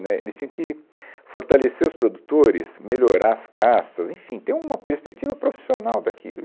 Né, eles tinham que fortalecer os produtores, melhorar as castas, enfim, ter uma perspectiva profissional daquilo.